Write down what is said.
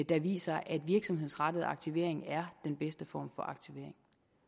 de viser at virksomhedsrettet aktivering er den bedste form for aktivering